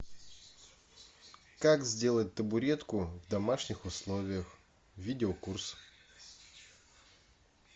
как сделать табуретку в домашних условиях видеокурс